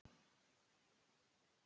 Stöðugleikinn að koma?